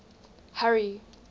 harry